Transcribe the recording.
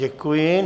Děkuji.